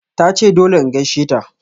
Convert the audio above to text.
Tace dole in gaisheta.